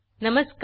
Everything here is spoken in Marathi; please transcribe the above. नमस्कार